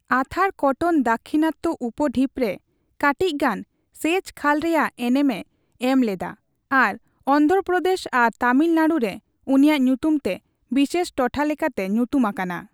ᱟᱛᱷᱟᱨ ᱠᱚᱴᱚᱱ ᱫᱟᱠᱷᱤᱱᱟᱛᱛᱚ ᱩᱯᱼᱰᱷᱤᱯ ᱨᱮ ᱠᱟᱴᱤᱪ ᱜᱟᱱ ᱥᱮᱪ ᱠᱷᱟᱞ ᱨᱮᱭᱟᱜ ᱮᱱᱮᱢ ᱮ ᱮᱢᱞᱮᱫᱟ ᱟᱨ ᱚᱱᱰᱷᱨᱚ ᱯᱚᱨᱫᱮᱥ ᱟᱨ ᱛᱟᱢᱤᱞᱱᱟᱲᱩ ᱨᱮ ᱩᱱᱤᱭᱟᱜ ᱧᱩᱛᱩᱢ ᱛᱮ ᱵᱤᱥᱮᱥ ᱴᱚᱴᱷᱟ ᱞᱮᱠᱟᱛᱮ ᱧᱩᱛᱩᱢ ᱟᱠᱟᱱᱟ ᱾